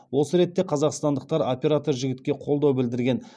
осы ретте қазақстандықтар оператор жігітке қолдау білдірген